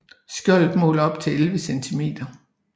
Skjoldet måler op til 11 cm